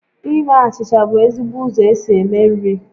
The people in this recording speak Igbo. Ime achịcha bụ ezigbo ụzọ esi eme nri